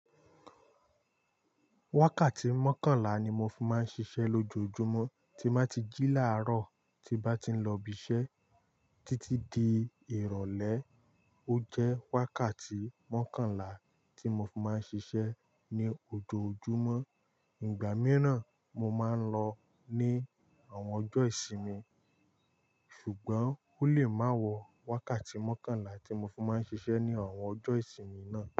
Wákàtí mọ́kànlá ni mo fi máa ń ṣiṣẹ́ lójoojúmọ́ tí máa ti jí làárọ̀ tí bá ti lọ ibi iṣẹ́ títí di ìrọ̀lẹ́. Ó jẹ́ wákàtí mọ́kànlá tí mo fi máa ń ṣiṣẹ́ ní ojoojúmọ́. Ìgbà mìíràn mo máa ń lọ ní àwọn ọjọ́ ìsinmi ṣùgbọ́n ó lè má wọ wákàtí mọ́kànlá tí mo fi máa ń ṣiṣẹ́ ní àwọn ọjọ́ ìsinmi náà.